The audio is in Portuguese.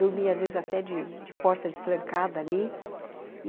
Dormia, às vezes, até de de porta destrancada ali.